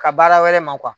Ka baara wɛrɛ ma